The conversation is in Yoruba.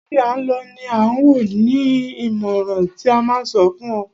Ibi à ń lọ ni à wò, ni ìmọràn ti máa a fún o.